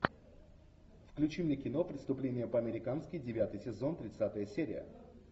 включи мне кино преступление по американски девятый сезон тридцатая серия